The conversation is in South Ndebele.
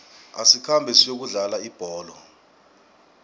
asikhambe siyokudlala ibholo